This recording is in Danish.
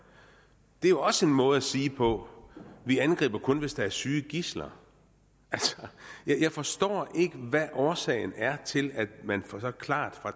det er jo også en måde at sige på vi angriber kun hvis der er syge gidsler altså jeg forstår ikke hvad årsagen er til at man så klart fra